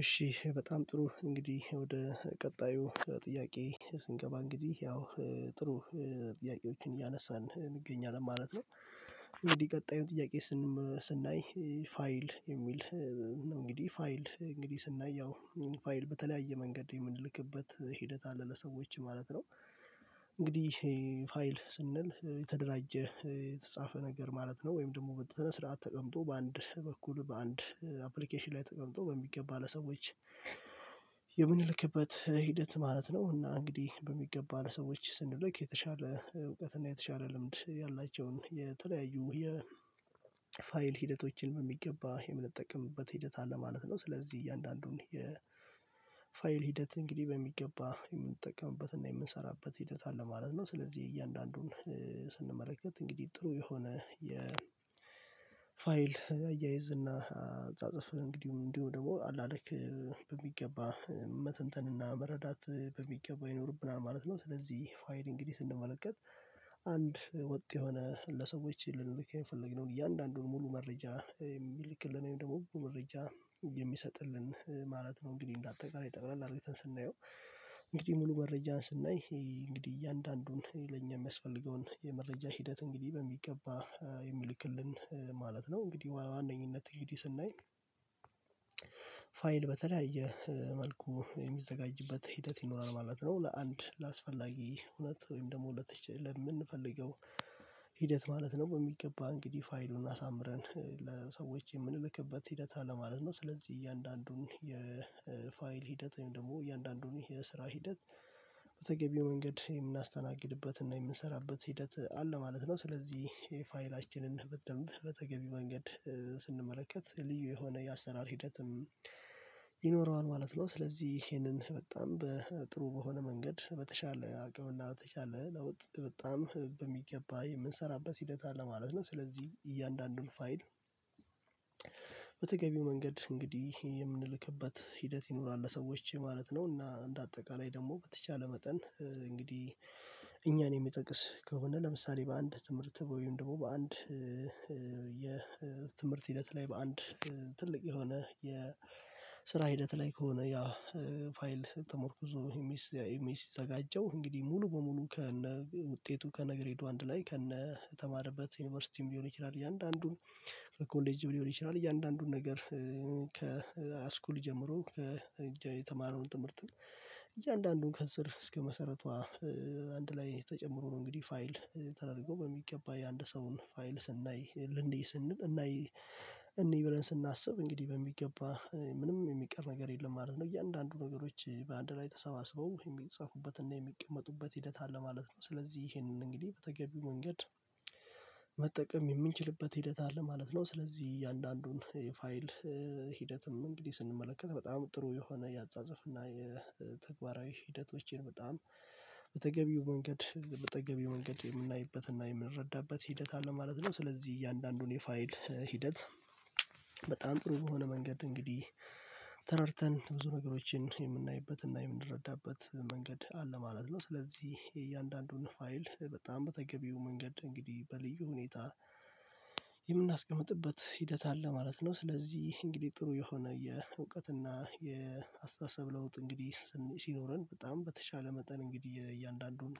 እሺ እሽ በጣም ጥሩ እንግዲህ ወደ ቀጣዩ ጥያቄ ስንገባ እንግዲህ ያው ጥሩ ጥያቄዎችን እያነሳን እንገኛለን ማለት ነው። እንግዳ ቀጣዩን ጥያቄ? ስናይ ፋይል የሚል እንግዲህ ፋይል እንግዲህ ስናይ ያው ፋይል በተለያየ መንገድ የምንልክበት ሂደት አለ ለሰዎች ማለት ነው። እንግዲህ ፋይል ስንል የተደራጀ የተጻፈ ነገር ማለት ነው ወይም ደግሞ በሰነ ስርዓት ተቀምጦ በአንድ በኩል በአንድ አፕሊኬሽን ላይ ተቀምጦ በሚገባ ለሰዎች የምንልክበት ሂደት ማለት ነው። እና እንግዲህ በሚገባ ሰዎች ስንልክ የተሻለ እውቀት እና የተሻለ ልምድ ያላቸውን የተለያዩ ፋይል ሂደቶችን በሚገባ የምንጠቅምበት ሂደት አለ ማለት ነው። ስለዚህ እያንዳንዱን የፋይል ሂደት እንግዲህ በሚገባ የምንጠቀምበትና የምንሰራበት ሂደት አለ ማለት ነው። ስለዚህ እያንዳንዱን ስንመለከት እንግዲህ ጥሩ የሆነ የ አያያዝና አጻጽፍ እንግዲህ እንዲሁ ደግሞ አላለክ በሚገባ መተንተንና መረዳት በሚገባው ይኖርብናል ማለት ነው። ስለዚህ ፋይል እንግዲህ ስንመለከት አንድ ወጥ የሆነ ለሰዎች ልንልክ የፈለግነው እያንዳንዱን ሙሉ መረጃ የሚልክልን ወይም ደግሞ መረጃ የሚሰጥልን ማለት ነው። እንግዲህ እንዳጠቃላይ ጠቅለል አድርገን ስናየው እንግዲህ ሙሉ መረጃን ስናይ ይሄ እንግዲህ እያንዳንዱን ለእኛ የሚያስፈልገውን የመረጃ ሂደት እንግዲህ በሚገባ የሚልክልን ማለት ነው። እንግዲህ በዋነኝነት እንግዲህ ስናይ ፋይል በተለየ መልኩ የሚዘጋጅበት ሂደት ይኖራል ማለት ነው። ለአንድ ለአስፈላጊ እውነት ወይም ደግሞ ለምንፈልገው ሂደት ማለት ነው። በሚገባ እንግዲህ ፋይሉን አሳምረን ለሰዎች የምንልክበት ሂደት አለ ማለት ነው። ስለዚህ እያንዳንዱን የፋይል ሂደት ወይም ደግሞ እያንዳንዱን የስራ ሂደት በተገቢው መንገድ የምናስተናግድበትና የምንሰራበት ሂደት አለ ማለት ነው። ስለዚህ ፋይላችንን በተገቢ መንገድ ስንመለከት ልዩ የሆነ የአሰራር ሂደትም ይኖረዋል ማለት ነው። ስለዚህ ይሄንን በጣም በጥሩ በሆነ መንገድ በተሻለ አቅምና በተሻለ ለውጥ በጣም በሚገባ የምንሰራበት ሂደት አለ ማለት ነው። ስለዚህ እያንዳንዱን ፋይል በተገቢው መንገድ እንግዲህ የምንልክበት ሂደት ይኖራል ለሰዎች ማለት ነው። እና እንደ አጠቃላይ ደግሞ በተቻለ መጠን እንግዲህ እኛን የሚጠቅስ ከሆነ ለምሳሌ በአንድ ትምህርት ወይም ደግሞ በአንድ የትምህርት ሂደት ላይ በአንድ ትልቅ የሆነ የስራ ሂደት ላይ ከሆነ ያ ፋይል ተመርኩዞ እሚዘጋጀው እንግዲህ ሙሉ በሙሉ ከነ ውጤቱ ከነገር ሄዶ አንድ ላይ ከነ የተማረበት ዩኒቨርሲቲም ሊሆን ይችላል። እያንዳንዱን ኮሌጅ ሊሆን ይችላል እያንዳንዱን ነገር ከሀይስኩል ጀምሮ የተማረውን ትምህርት እያንዳንዱን ከስር እስከ መሰረቷ አንድ ላይ ተጨምሮ ነው። እንግዲህ ፋይል ተደርጎ በሚገባ የአንድ ሰው ፋይል ስናይ ልንይ ስንል እናይ እንይ ብለን ስናስብ እንግዲህ በሚገባ ምንም የሚቀር ነገር የለም ማለት ነው። እያንዳንዱ ነገሮች በአንድ ላይ ተሰባስበው የሚጽፉበትና የሚቀመጡበት ሂደት አለ ማለት ነው። ስለዚህ ይሄንን እንግዲህ በተገቢው መንገድ መጠቀም የምንችልበት ሂደት አለ ማለት ነው። ስለዚህ እያንዳንዱን የፋይል ሂደትም እንግዲህ ስንመለከት በጣም ጥሩ የሆነ የአጻጽፍ እና የተግባራዊ ሂደቶችን በጣም በተገቢው መንገድ በተገቢው መንገድ የምናይበትና የምንረዳበት ሂደት አለ ማለት ነው። ስለዚህ እያንዳንዱን የፋይል ሂደት በጣም ጥሩ በሆነ እንግዲህ ተረድተን ብዙ ነገሮችን የምናይበትና የምንረዳበት መንገድ አለ ማለት ነው። ስለዚህ የእያንዳንዱን ፋይል በጣም በተገቢው መንገድ እንግዲህ በልዩ ሁኔታ የምናስቀምጥበት ሂደት አለ ማለት ነው። ስለዚህ እንግዲህ ጥሩ የሆነ የእውቀትና የአስተሳሰብ ለውጥ እንግዲህ ሲኖረን በጣም በተሻለ መጠን እንግዲህ እያንዳንዱን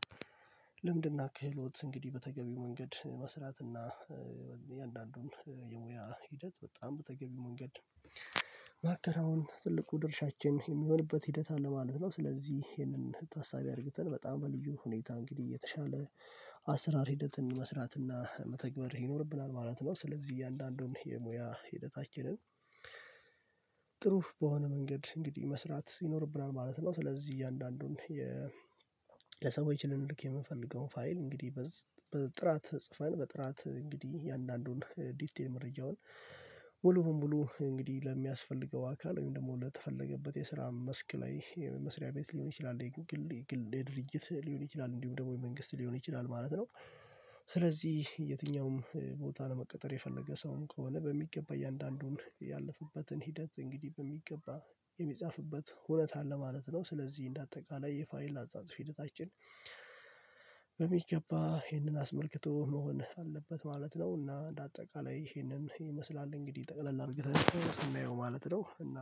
ልምድና ክህሎት እንግዲህ በተገቢው መንገድ መስራት እና የእያንዳንዱን የሙያ ሂደት በጣም በተገቢው መንገድ ማከናወን ትልቁ ድርሻችን የሚሆንበት ሂደት አለ ማለት ነው። ስለዚህ ይሄንን ታሳቢ አድርገን በጣም በልዩ ሁኔታ እንግዲህ የተሻለ አሰራር ሂደትን መስራት እና መተግበር ይኖርብናል ማለት ነው። ስለዚህ እያንዳንዱን የሙያ ሂደት አች አችንን ጥሩ በሆነ መንገድ እንግዲህ መስራት ይኖርብናል ማለት ነው። ስለዚህ እያንዳንዱን ለሰዎች ልንልክ የምንፈልገውን ፋይል እንግዲህ በጥራት ጽፈን በጥራት እንግዲህ እያንዳንዱን ዲቴል መረጃውን ሙሉ ሙሉ እንግዲህ ለሚያስፈልገው አካል ወይም ደግሞ ለተፈለገበት የስራ መስክ ላይ የመስሪያ ቤት ሊሆን ይችላል የግል የግል የድርጅት ሊሆን ይችላል እንዲሁም ደግሞ የመንግስት ሊሆን ይችላል ማለት ነው። ስለዚህ የትኛውም ቦታ ነው መቀጠር የፈለገ ሰውም ከሆነ በሚገባ እያንዳንዱን ያለፉበትን ሂደት እንግዲህ በሚገባ የሚጻፍበት ሁነት አለ ማለት ነው። ስለዚህ እንደ አጠቃላይ የፋይን ላጻጽፍ ሂደታችን በሚገባ ይሄንን አስመልክቶ መሆን አለበት ማለት ነው። እና እንደ አጠቃላይ ይሄንን ይመስላል እንግዲህ ጠቅለል አድርገን ስናየው ማለት ነው። እና